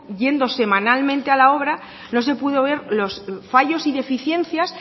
yendo semanalmente a la obra no se pudo ver los fallos y deficiencias